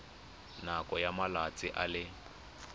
nakong ya malatsi a le